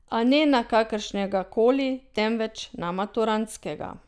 A ne na kakršnega koli, temveč na maturantskega.